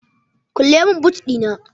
kulle min boot Dina!